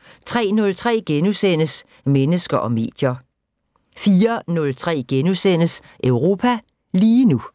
* 03:03: Mennesker og medier * 04:03: Europa lige nu *